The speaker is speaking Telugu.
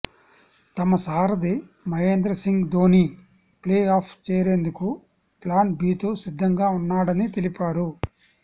తమ సారథి మహేంద్ర సింగ్ ధోనీ ప్లే ఆఫ్ చేరేందుకు ప్లాన్ బితో సిద్దంగా ఉన్నాడని తెలిపారు